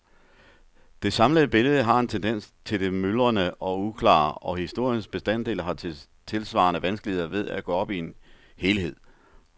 Det samlede billede har en tendens til det myldrende og uklare, og historiens bestanddele har tilsvarende vanskeligheder ved at gå op i en helhed.